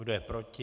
Kdo je proti?